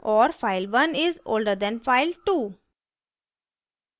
और file1 is older than file2